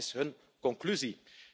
En wat is hun conclusie?